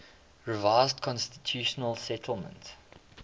revised constitutional settlement